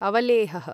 अवलेहः